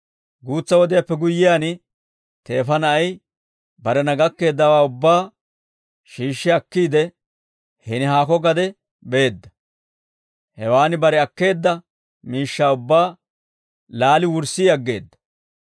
Guutsa wodiyaappe guyyiyaan teefa na'ay barena gakkeeddawaa ubbaa shiishshi akkiide hini haako gade beedda; hewaan bare akkeedda miishshaa ubbaa laali wurssi aggeedda.